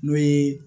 N'o ye